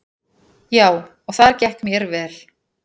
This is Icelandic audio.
Já, og þar gekk mér vel.